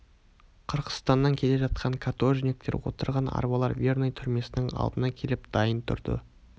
қырғызстаннан келе жатқан каторжниктер отырған арбалар верный түрмесінің алдына келіп дайын тұрды